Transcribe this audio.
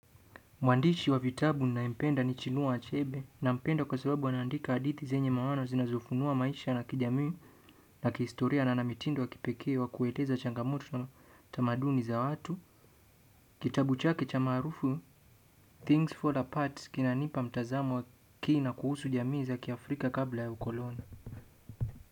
Mwandishi wa vitabu ninayempenda ni Chinua Achebe. Nampenda kwa sababu anaandika hadithi zenye maana zinazofunua maisha na kijamii na kihistoria na ana mitindo wa kipekee wa kueleza changamoto na tamaduni za watu. Kitabu chake cha maarufu "Things Fall Apart" kinanipa mtazamo wa kina kuhusu jamii za kiafrika kabla ya ukoloni.